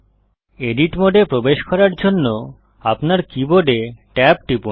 edit মোডে প্রবেশ করার জন্য আপনার কীবোর্ড tab টিপুন